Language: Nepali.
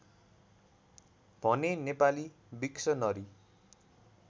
भने नेपाली विक्सनरी